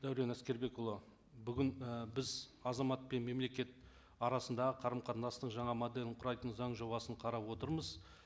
дәурен әскербекұлы бүгін ы біз азамат пен мемлекет арасындағы қарым қатынастың жаңа моделін құрайтын заң жобасын қарап отырмыз